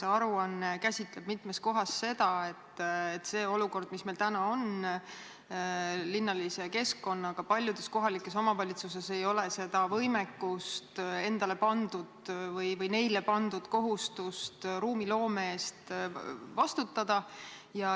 See aruanne käsitleb mitmes kohas seda olukorda, mis meil on linnalise keskkonnaga, seda, et paljudes kohalikes omavalitsustes ei ole seda võimekust endal või ei ole neile pandud kohustust ruumiloome eest vastutada.